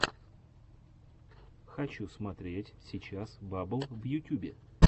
хочу смотреть сейчас баббл в ютюбе